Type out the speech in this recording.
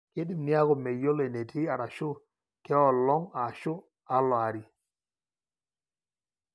keidim niaku meyiolo enetii arashu kaolong ashu alo-ari.